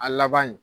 A laban in